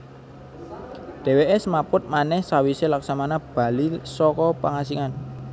Dheweke smaput manèh sawise Laksmana bali saka pangasingan